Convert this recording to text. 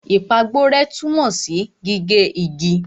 Ìpàgborẹ́ tunmo si gige igi.